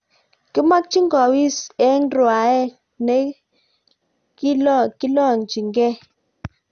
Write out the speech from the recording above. kimekchi kuwis eng' rwae ne kilonyigei